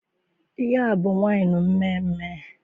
Ihe a abụ waịnụ mmeemee?